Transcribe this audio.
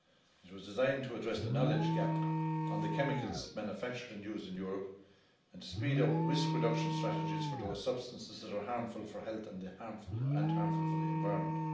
It was designed to address the knowledge gap on the chemicals manufactured and used in Europe and to speed up risk reduction strategies for those substances that are harmful for health and harmful for the environment.